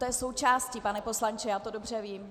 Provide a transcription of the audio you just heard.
To je součástí, pane poslanče, já to dobře vím.